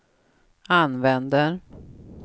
använder